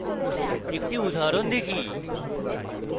একটি উদাহরণ দেখি